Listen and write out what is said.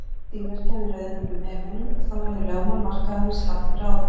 Síðar kæmi röðin að umheiminum og þá yrðu lögmál markaðarins látin ráða.